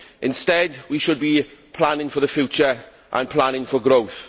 Instead, we should be planning for the future and planning for growth.